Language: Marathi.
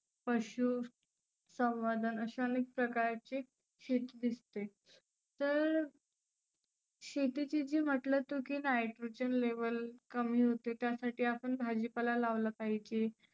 पशु संवर्धन असे अनेक प्रकारची शेती दिसते. तर शेतीची जी म्हटलं तु की nitrogen level कमी होते त्यासाठी आपण भाजी पाला लावला पाहीजे